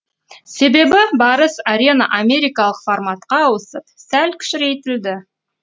себебі барыс арена америкалық форматқа ауысып сәл кішірейтілді